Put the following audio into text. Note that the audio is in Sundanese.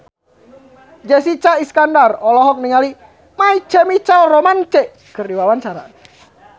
Jessica Iskandar olohok ningali My Chemical Romance keur diwawancara